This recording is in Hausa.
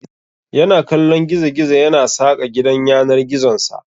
Yana kallon gizo-gizo yana saƙa gidan yanar gizonsa.